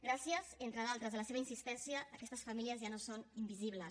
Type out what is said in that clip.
gràcies entre d’altres a la seva insistència aquestes famílies ja no són invisibles